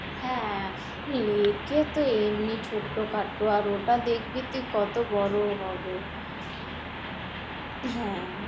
হ্যাঁ, হ্যাঁ lake তো এমনি ছোট-খাটো আর ওটা দেখবি তুই কত বড়ো হবে হ্যাঁ,